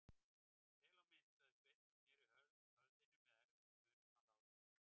Vel á minnst, sagði Sveinn og sneri höfðinu með erfiðismunum að Lárusi.